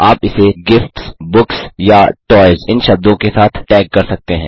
आप इसे gifts books या टॉयज़ इन शब्दों के साथ टैग कर सकते हैं